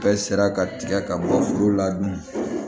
Bɛɛ sera ka tigɛ ka bɔ foro la dun